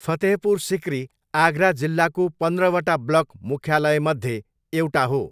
फतेहपुर सिकरी आगरा जिल्लाको पन्ध्रवटा ब्लक मुख्यालयमध्ये एउटा हो।